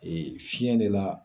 Ee fiɲɛ de la